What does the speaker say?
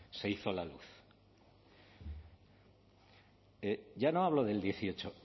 se hizo la luz ya no hablo del dieciocho